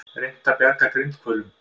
Reynt að bjarga grindhvölum